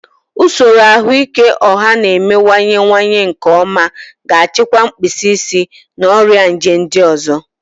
Usoro ahụike ọha na-emewanyewanye nke ọma ga-achịkwa mkpịsị isi na ọrịa nje ndị ọzọ.